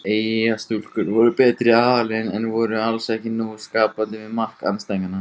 Eyjastúlkur voru betri aðilinn en voru alls ekki nógu skapandi við mark andstæðinganna.